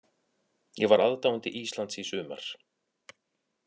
Ég var aðdáandi Íslands í sumar.